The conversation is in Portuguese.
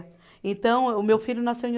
Então, o meu filho nasceu em